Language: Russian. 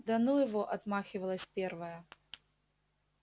да ну его отмахивалась первая